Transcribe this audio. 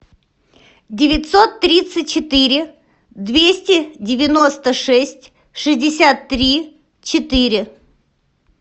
девятьсот тридцать четыре двести девяносто шесть шестьдесят три четыре